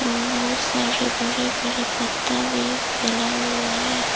और बहुत सारे बड़े बड़े पत्ता भी फैला हुआ है।